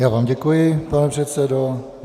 Já vám děkuji, pane předsedo.